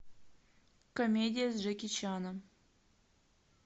комедия с джеки чаном